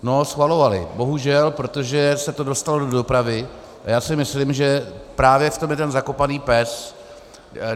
No, schvalovali, bohužel, protože se to dostalo do dopravy, a já si myslím, že právě v tom je ten zakopaný pes.